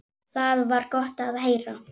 Það var gott að heyra.